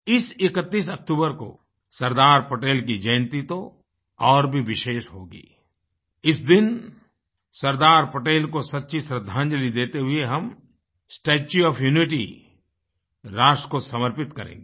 इस 31 अक्तूबर को सरदार पटेल की जयन्ती तो और भी विशेष होगी इस दिन सरदार पटेल को सच्ची श्रद्धांजलि देते हुए हम स्टेच्यू ओएफ यूनिटी राष्ट्र को समर्पित करेंगे